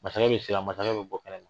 Masakɛ bɛ siran masakɛ bɛ bɔ kɛnɛma